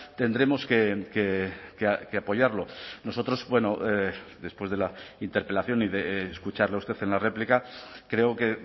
tendremos que apoyarlo nosotros bueno después de la interpelación y de escucharle a usted en la réplica creo que